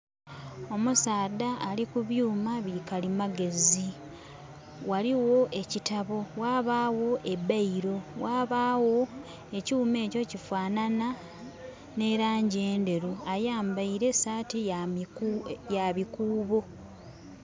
Omusaadha ali ku byuuma bi kalimagezi. Ghaligho ekitabo ghabagho e bailo ghabagho ekyuuma ekyo kifanhanha n'elaangi endheru. Ayambaile saati ya bikuubo.